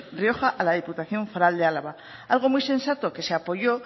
rioja a la diputación foral de álava algo muy sensato que se apoyó